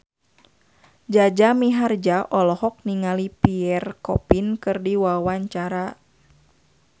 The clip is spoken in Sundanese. Jaja Mihardja olohok ningali Pierre Coffin keur diwawancara